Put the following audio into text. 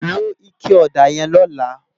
Ló iké òdá yèn lòlá